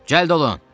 Cəld olun!